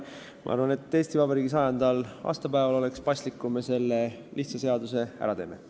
Ma arvan, et Eesti Vabariigi 100. aastal oleks paslik, et me selle lihtsa seaduse ära teeme.